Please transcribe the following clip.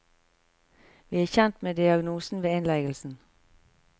Vi er kjent med diagnosen ved innleggelsen.